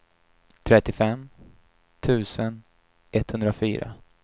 trettiofem tusen etthundrafyra